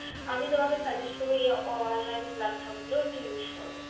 আমি তোমাকে suggest করব এ online platform গুলো একটু use কর।